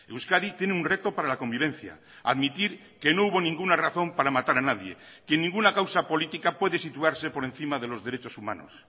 euskadi tiene un reto para la convivencia admitir que no hubo ninguna razón para matar a nadie que ninguna causa política puede situarse por encima de los derechos humanos